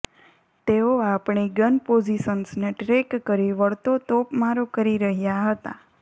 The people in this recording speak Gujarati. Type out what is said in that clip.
તેઓ આપણી ગન પોઝીશન્સને ટ્રેક કરી વળતો તોપમારો કરી રહ્યા હતા